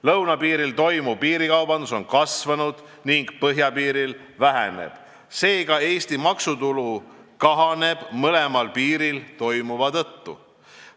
Lõunapiiril toimuv piirikaubandus on kasvanud ning põhjapiiril vähenenud, seega Eesti maksutulu kahaneb mõlemal piiril toimuva tõttu.